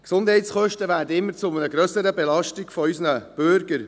– Die Gesundheitskosten werden zu einer immer grösseren Belastung unserer Bürger.